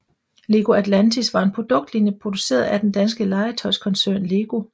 Lego Atlantis var en produktlinje produceret af den danske legetøjskoncern LEGO